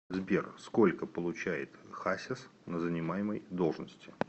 сбер сколько получает хасис на занимаемой должности